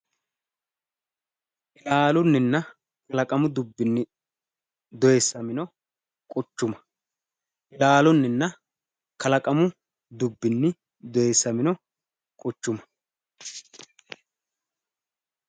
ilaallunninna kalaqamu dubbinni dooyiissamino quchuma. ilaallunninna kalaqamu dubbinni dooyiissamino quchuma.